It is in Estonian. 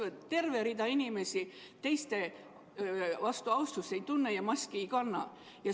– ja terve rida inimesi teistega ei arvesta ja maski ei kanna.